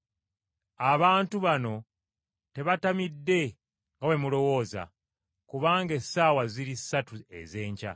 Abantu bano tebatamidde nga bwe mulowooza, kubanga essaawa ziri ssatu ez’enkya!